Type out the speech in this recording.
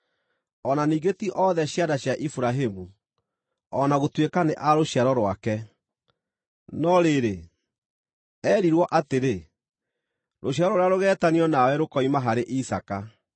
O na ningĩ ti othe ciana cia Iburahĩmu, o na gũtuĩka nĩ a rũciaro rwake. No rĩrĩ, eerirwo atĩrĩ, “Rũciaro rũrĩa rũgeetanio nawe rũkoima harĩ Isaaka.”